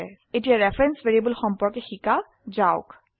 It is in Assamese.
এতিয়া ৰেফাৰেন্স ভ্যাৰিয়েবল সম্পৰ্কে শিকা যাওক